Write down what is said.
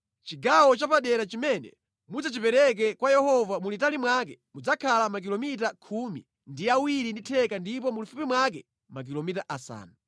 “Chigawo chapadera chimene mudzachipereke kwa Yehova mulitali mwake mudzakhala makilomita khumi ndi awiri ndi theka ndipo mulifupi mwake makilomita asanu.